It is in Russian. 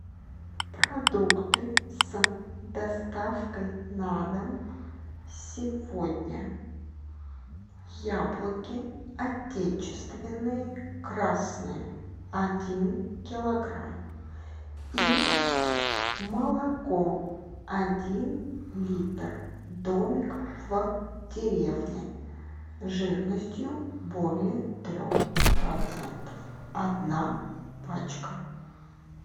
продукты с доставкой на дом сегодня яблоки отечественные красные один килограмм и молоко один литр домик в деревне жирностью более трех процентов одна пачка